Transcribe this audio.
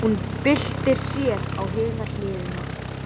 Hún byltir sér á hina hliðina.